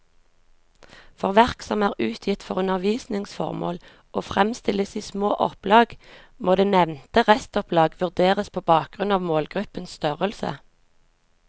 For verk som er utgitt for undervisningsformål og fremstilles i små opplag, må det nevnte restopplag vurderes på bakgrunn av målgruppens størrelse.